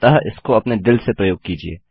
अतः इसको अपने दिल से प्रयोग कीजिये